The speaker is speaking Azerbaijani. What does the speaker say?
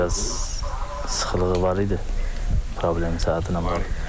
Bir az sıxılığı var idi, problemi saytına.